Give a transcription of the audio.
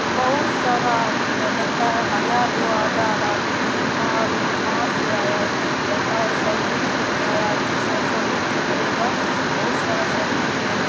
बहुत सारा आदमी है लगता हैं हजार दो हजार आदमी है इतना आदमी कहा से आया है लगता हैं सब्जी खरीदने आया है सब्जी खरीदेगा बहुत सारा सब्जी ले लेगा --